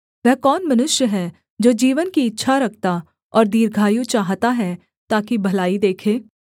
वह कौन मनुष्य है जो जीवन की इच्छा रखता और दीर्घायु चाहता है ताकि भलाई देखे